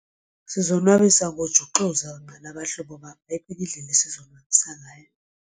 Sizonwabisa ngojuxuza mna nabahlobo bam ayikho enye indlela esizonwabisa ngayo.